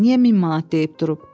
Niyə 1000 manat deyib durub?